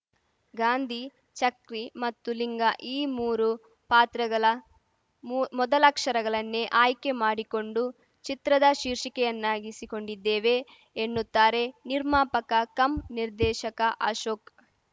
ಗಾಂಧಿ ಚಕ್ರಿ ಮತ್ತು ಲಿಂಗ ಈ ಮೂರು ಪಾತ್ರಗಲ ಮೊದಲಕ್ಷರಗಲನ್ನೆ ಆಯ್ಕೆ ಮಾಡಿಕೊಂಡು ಚಿತ್ರದ ಶೀರ್ಷಿಕೆಯನ್ನಾಗಿಸಿಕೊಂಡಿದ್ದೇವೆ ಎನ್ನುತ್ತಾರೆ ನಿರ್ಮಾಪಕ ಕಮ್‌ ನಿರ್ದೇಶಕ ಅಶೋಕ್‌